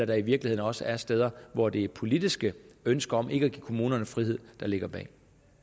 der i virkeligheden også er steder hvor det er et politisk ønske om ikke at give kommunerne frihed der ligger bag